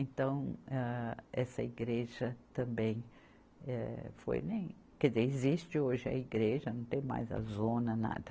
Então, ah, essa igreja também, eh foi, nem, quer dizer, existe hoje a igreja, não tem mais a zona, nada.